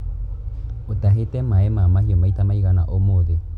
ũtahĩte maĩ ma mahiũ maita maigana ũmũthĩ.